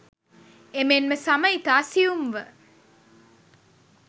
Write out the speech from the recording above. එමෙන්ම සම ඉතා සියුම්ව